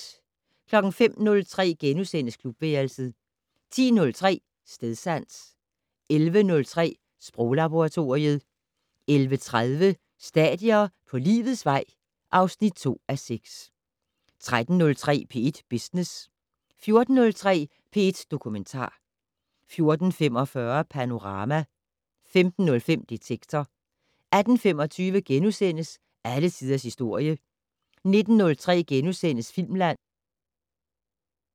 05:03: Klubværelset * 10:03: Stedsans 11:03: Sproglaboratoriet 11:30: Stadier på livets vej (2:6) 13:03: P1 Business 14:03: P1 Dokumentar 14:45: Panorama 15:03: Detektor 18:25: Alle tiders historie * 19:03: Filmland *